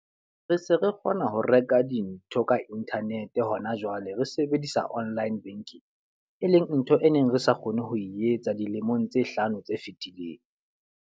Re se re kgona ho reka dintho ka internet hona jwale, re sebedisa online banking. E leng ntho e neng re sa kgone ho etsa dilemong tse hlano tse fitileng.